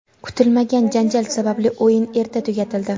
Kutilmagan janjal sababli o‘yin erta tugatildi.